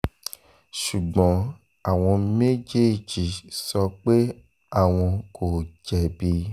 ṣùgbọ́n àwọn méjèèjì ni àwọn kò jẹ̀bi